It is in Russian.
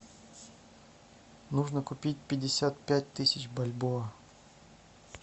нужно купить пятьдесят пять тысяч бальбоа